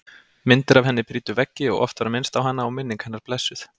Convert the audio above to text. Myndir af henni prýddu veggi og oft var minnst á hana og minning hennar blessuð.